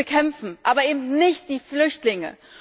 Wir müssen sie bekämpfen, aber eben nicht die Flüchtlinge.